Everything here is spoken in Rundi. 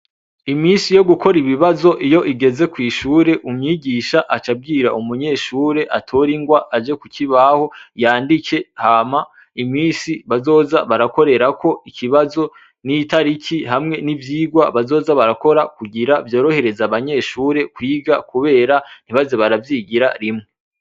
Imisi yo gukora ibibazo iyo igeze kw'ishure umwigisha acabwira umunyeshure atora ingwa aje ku kibaho yandike hama imisi bazoza barakorerako ikibazo n'itariki hamwe n'ivyigwa bazoza barakora kugira vyorohereza abanyeshure kwiga, kubera ntibaze baravyigiya a rimwe.